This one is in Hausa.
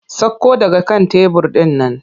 Sakko daga kan tebur ɗin nan!